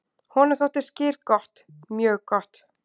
"""Honum þótti skyr gott, mjög gott."""